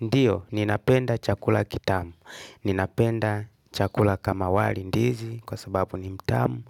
Ndiyo, ninapenda chakula kitamu. Ninapenda chakula kama wali ndizi kwa sababu ni mtamu.